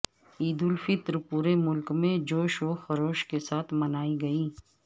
عید الفطر پورے ملک میں جوش و خروش کے ساتھ منائی گئی